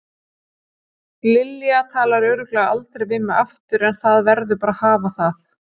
Lilja talar örugglega aldrei við mig aftur en það verður bara að hafa það.